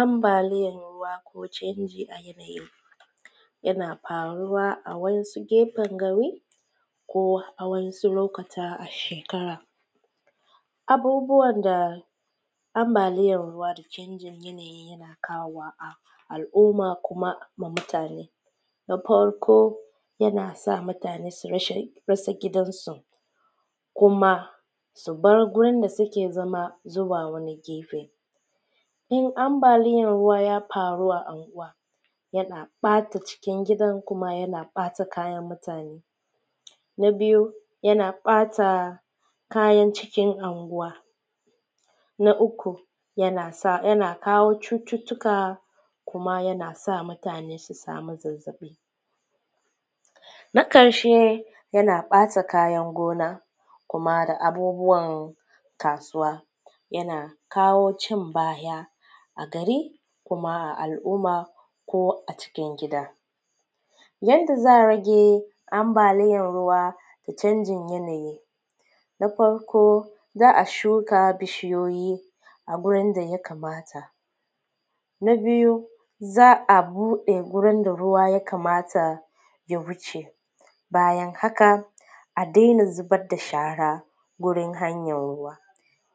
Ambalin ruwa ko canjin yanayi yana faruwa a wasu gefen gari ko a wasu lokuta a shekara, abubuwan da ambaliyan ruwa da canjin yanayi na kawowa wa al`umma kuma mutane, na farko yana sa mutane su rasa gidan su kuma su bar gurin da suke zama zuwa wani gefe in ambaliyan ruwa ya ya fara a unguwa yana ɓata cikin gidan kuma yana ɓata kayan mutane, na biyu yana ɓata kayan cikin anguwa, na uku yana yana sa yana kawo cututtuka kuma yana sa mutane su samu zazzaɓi, na ƙarshe yana ɓata kayan gona kuma da abubuwan kasuwa kuma yana kawo cin baya a gari kuma al`umma ko a cikin gida yanda za`a rage ambaliyan ruwa da canjin yanayi, na farko za`a shuka bishiyoyi a gurin da ya kamata, na biyu za`a buɗe gurin da ruwa ya kamata ya wuce bayan haka a daina zubar da shara gurin hanyar ruwa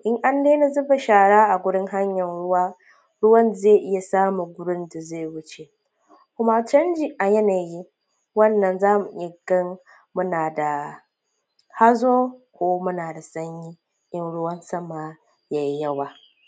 in an daina zuba shara a gurin hanyan ruwa ruwan zai iya samun gurin da zai wuce kuma canji a yanayi wannan zamu iya gani muna da hazo ko muna da sanyi in ruwan sama